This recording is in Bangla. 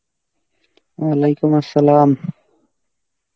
Arbi